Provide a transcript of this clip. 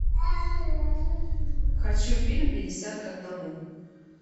хочу фильм пятьдесят к одному